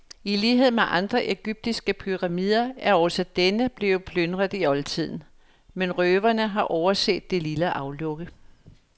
I lighed med andre egyptiske pyramider er også denne blevet plyndret i oldtiden, men røverne har overset det lille aflukke.